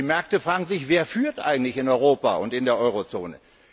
Und die Märkte fragen sich Wer führt eigentlich in Europa und in der Eurozone?